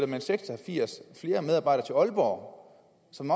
man seks og firs flere medarbejdere til aalborg som